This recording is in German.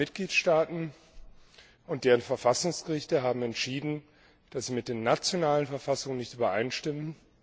Zahlreiche Mitgliedstaaten und deren Verfassungsrichter haben entschieden, dass sie mit den nationalen Verfassungen nicht übereinstimmen.